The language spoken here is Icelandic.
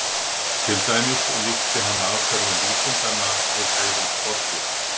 Til dæmis líkti hann aðferðum vísindanna við hegðun skordýra.